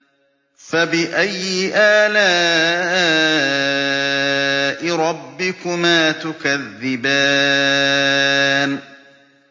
فَبِأَيِّ آلَاءِ رَبِّكُمَا تُكَذِّبَانِ